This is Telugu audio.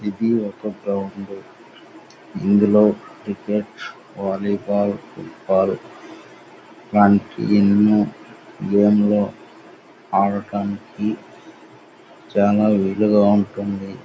ఏది ఒక గ్రౌండు. ఇందులో క్రికెట్ వాలీ బాల్ ఫుట్బాల్ దానికి ఎన్నో ఆడడానికి చాల వీలుగా ఉంటుంది .